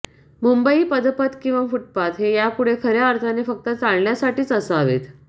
मुंबई पदपथ किंवा फुटपाथ हे यापुढे खऱया अर्थाने फक्त चालण्यासाठीच असावेत